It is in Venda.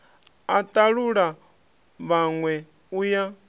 a talula vhanwe u ya